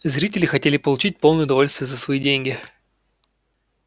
зрители хотели получить полное удовольствие за свои деньги